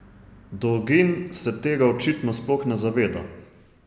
Dolgin se tega očitno sploh ne zaveda.